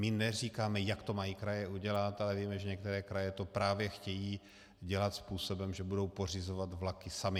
My neříkáme, jak to mají kraje udělat, ale víme, že některé kraje to právě chtějí dělat způsobem, že budou pořizovat vlaky samy.